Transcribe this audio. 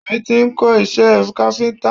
Obìnrin tí ń kó iṣẹ́ káfíntà.